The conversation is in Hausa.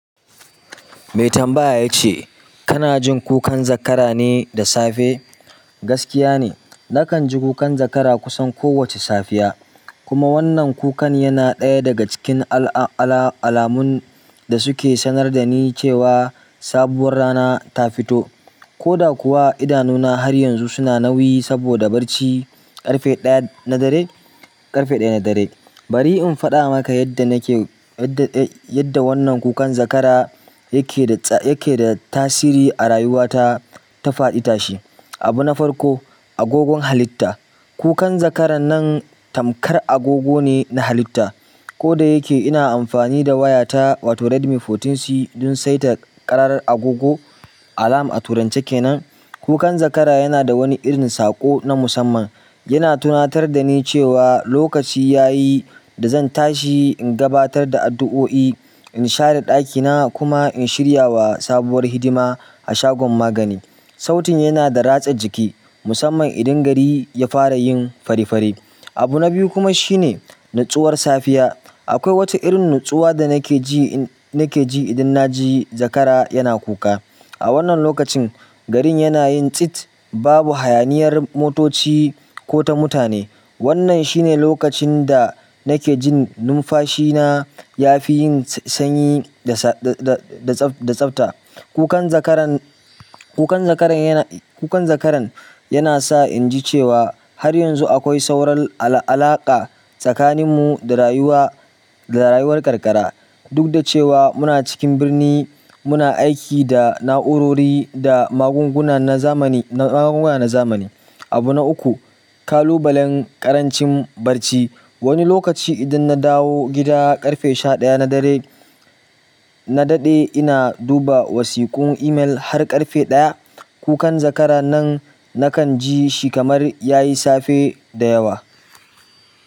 Mai tambaya ya ce, kana jin kukan zakara ne da safe? Gaskiya ne, nakan ji kukan zakara kusan kowace safiya. Kuma wannan kukan yana ɗaya daga cikin ala-ala-alamun da suke sanar da ni cewa sabuwar rana ta fito, ko da kuwa idanuna har yanzu suna nauyi saboda barci ƙarfe ɗaya na dare, ƙarfe ɗaya na dare. Bari in faɗa maka yadda kukan zakara yake da tasiri a rayuwata ta faɗi tashi. Abu na farko, agogon halitta. Kukan zakaran nan tamkar agogo ne na halitta ko da yake ina amfani da wayata wato Redmi sha huɗu C don saita ƙarar agogo alam a turance kenan, kukan zakara yana da wani irin saƙo na musamman. Yana tunatar da ni cewa lokaci ya yi da zan tashi in gabatar da addu'o'i, in share ɗakina kuma in shirya wa sabuwar hidima a shagon magani. Sautin yana da ratsa jiki, musamman idan gari ya fara yin fari fari. Abu na biyu kuma shine nutsuwar safiya. Akwai wata irin nutsuwa da nake ji, nake ji idan na ji zakara yana kuka. A wannan lokacin, garin yana yin tsit, babu hayaniyar motoci ko ta mutane. Wannan shine lokacin da nake jin numfashina ya fi yin sanyi da tsabta. Kukan zakara-kukan zakaran-kukan zakaran yana sa inji cewa har yanzu akwai sauran ala-alaka tsakanin mu a rayuwa rayuwar karkara dukda cewa muna cikin birni muna aiki da na'urori da magunguna na zamani. Abu na uku, kalubalen ƙarancin barci. Wani lokaci idan na dawo gida ƙarfe sha ɗaya na dare, na daɗe ina duba wasiku email har ƙarfe ɗaya, kukan zakara nan nakan ji shi kamar ya yi safe da yawa.